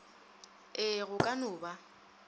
ee go ka no ba